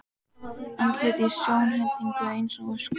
Andlit í sjónhendingu eins og öskur.